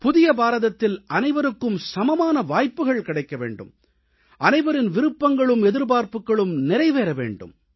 புதிய பாரதத்தில் அனைவருக்கும் சமமான வாய்ப்புக்கள் கிடைக்க வேண்டும் அனைவரின் விருப்பங்களும் எதிர்ப்பார்ப்புக்களும் நிறைவேற வேண்டும்